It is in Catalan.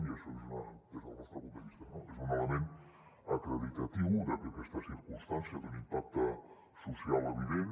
i això des del nostre punt de vista és un element acreditatiu de que aquesta cir·cumstància d’un impacte social evident